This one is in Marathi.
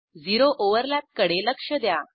झिरो ओव्हरलॅप कडे लक्ष द्या